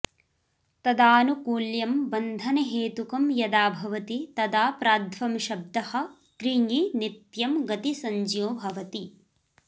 तदानुकूल्यं वन्धनहेतुकं यदा भवति तदा प्राध्वंशब्दः कृञि नित्यं गतिसंज्ञो भवति